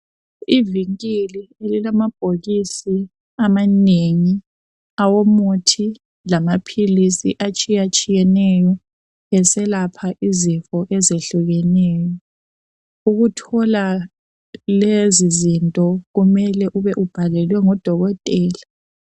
Ivinkili elilamabhokisi amanengi awomuthi lamaphilisi atshiyatshiyeneyo eselapha izifo ezehlukeneyo. Ukuthola lezizinto kumele ube ubhalelwe ngodokotela